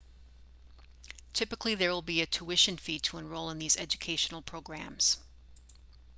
typically there will be a tuition fee to enroll in these educational programs